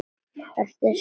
Ertu sammála þessu?